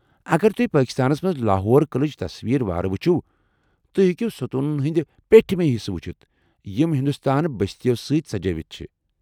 اگر تُہۍ پٲکستانس منٛز لاہور قٕلٕچہِ تصویر وارٕ وُچھِو ، توہہِ ہیكِو ستوٗنن ہندۍ پیٹھِمہِ حصہٕ وُچھِتھ یم ہندوستٲن بستِیو سۭتۍ سجٲوِتھ چھِ ۔